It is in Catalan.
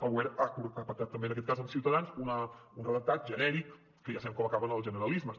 el govern ha pactat també en aquest cas amb ciutadans un redactat genèric que ja sabem com acaben els generalismes